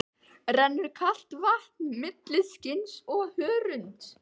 Rennur kalt vatn milli skinns og hörunds.